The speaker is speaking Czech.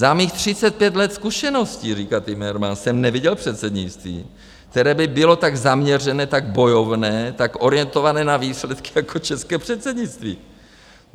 Za mých 35 let zkušeností, říká Timmermans, jsem neviděl předsednictví, které by bylo tak zaměřené, tak bojovné, tak orientované na výsledky jako české předsednictví.